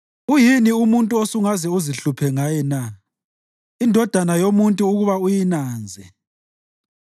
uyini umuntu osungaze uzihluphe ngaye na, indodana yomuntu ukuba uyinanze?